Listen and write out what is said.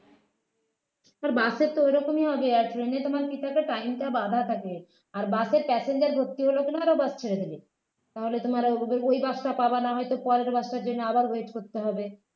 তো bus এ তো এরকমই হবে আর train এ তোমার কি থাকে time টা বাঁধা থাকে আর bus এর passenger ভর্তি হলে bus ছেড়ে দেবে তাহলে তোমার ও ওই bus টা পাবে না হয়তো পরের bus টার জন্য আবার wait করতে হবে